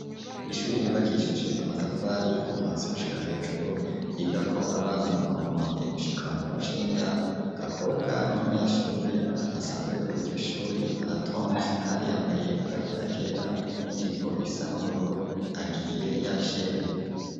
Ishure ryubakishije amatafari kuvasiushika hejuru yiga ko abana kuva mu wambere gushika muicenda gakobwa n'umunyeshuri asanzwe gako igoshori aratons kandi yambaye agapira kera n'ijipo isa n'ubururu agiye yacerewe.